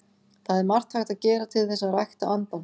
Það er margt hægt að gera til þess að rækta andann.